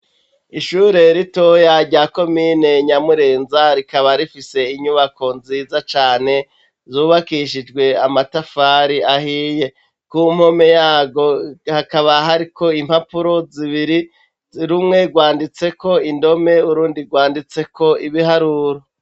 Ishure ritoya rya komine Nyamurenza, rikaba rifise inyubako nziza cane, zubakishijwe amatafari ahiye; ku mpome yarwo, hakaba hariko impapuro zibiri, rumwe rwanditseko indome, urundi rwanditseko ibiharuro.